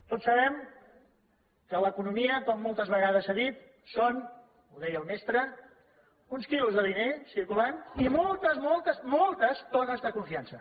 tots sabem que l’economia com moltes vegades s’ha dit són ho deia el mestre uns quilos de diner circulant i moltes moltes moltes tones de confiança